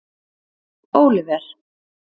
Óliver